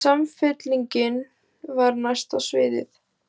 Samfylkingin var næst á sviðið.